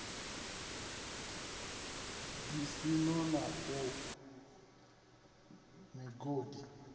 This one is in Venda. ḓisiso na u gwa migodi